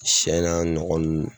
Sɛ n'a ɲɔgɔn ninnu